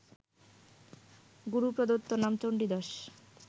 গুরুপ্রদত্ত নাম চণ্ডীদাস